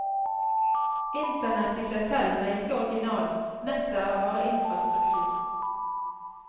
Internett i seg selv er ikke originalt, nettet er bare infrastruktur.